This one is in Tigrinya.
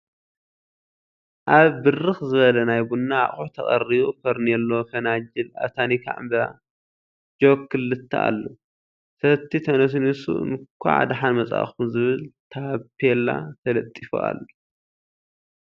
ኣብ ብርክ ዘበለ ናይ ቡና ኣቁሑ ተቀሪቡ ፎርኔሎ፣ ፈናጅል፣ ኣብ ታኒካ ዕምበባ፣ ጀክ ክልተ ኣሎ። ሰቲ ተነስኒሱ እንኳዕ ደሓን መፃኩም ዝብል ታቤላ ተለጢፉ ኣሎ።